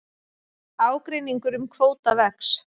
Ágreiningur um kvóta vex